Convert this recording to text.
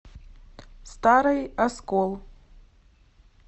старый оскол